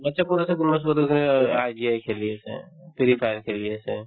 batcha কত আছে খেলি আছে free fire খেলি আছে